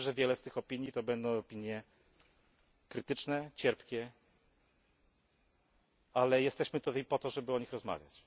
Wiem, że wiele z nich to będą opinie krytyczne, cierpkie, ale jesteśmy tutaj po to, żeby o nich rozmawiać.